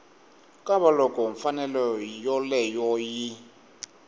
ka loko mfanelo yoleyo yi